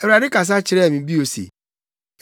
Awurade kasa kyerɛɛ me bio se,